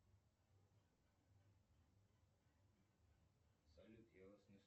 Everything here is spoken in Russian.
салют я вас не слышу